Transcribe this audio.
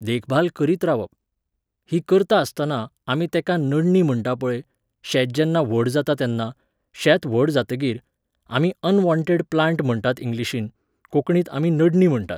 देखभाल करीत रावप. ही करता आसतना, आमी तेका नडणी म्हणटा पळय, शेत जेन्ना व्हड जाता तेन्ना, शेत व्हड जातकीर, आमी अनवॉण्टेड प्लाण्ट म्हणटात इंग्लिशींत, कोंकणीत आमी नडणी म्हणटात.